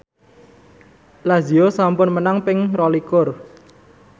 Lazio sampun menang ping rolikur